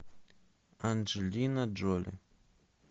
анджелина джоли